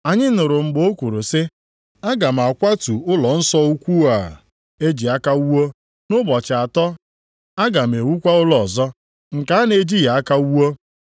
“Anyị nụrụ mgbe o kwuru sị, ‘Aga m akwatu ụlọnsọ ukwu a nke e ji aka wuo, nʼụbọchị atọ aga m ewukwa ụlọ ọzọ, nke a na-ejighị aka wuo.’ ”